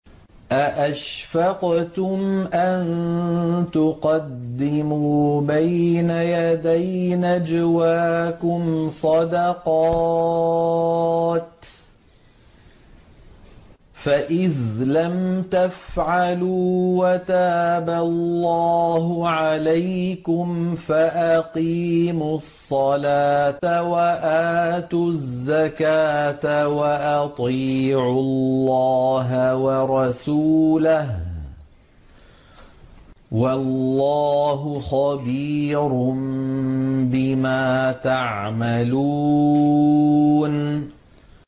أَأَشْفَقْتُمْ أَن تُقَدِّمُوا بَيْنَ يَدَيْ نَجْوَاكُمْ صَدَقَاتٍ ۚ فَإِذْ لَمْ تَفْعَلُوا وَتَابَ اللَّهُ عَلَيْكُمْ فَأَقِيمُوا الصَّلَاةَ وَآتُوا الزَّكَاةَ وَأَطِيعُوا اللَّهَ وَرَسُولَهُ ۚ وَاللَّهُ خَبِيرٌ بِمَا تَعْمَلُونَ